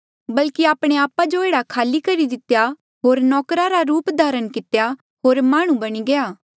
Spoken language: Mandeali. बल्की आपणे आपा जो एह्ड़ा खाली करी दितेया होर नौकर रा रूप धारण कितेया होर माह्णुं बणी गया